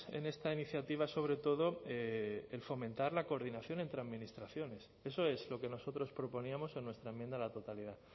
en esta iniciativa sobre todo el fomentar la coordinación entre administraciones eso es lo que nosotros proponíamos en nuestra enmienda a la totalidad